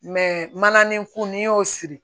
Mɛ mana nin ko n'i y'o siri